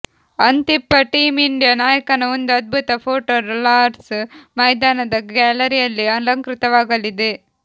ಅಂತಿಪ್ಪ team India ನಾಯಕನ ಒಂದು ಅದ್ಭುತ ಫೋಟೋ ಲಾರ್ಡ್ಸ್ ಮೈದಾನದ ಗ್ಯಾಲರಿಯಲ್ಲಿ ಅಲಂಕೃತವಾಗಲಿದೆ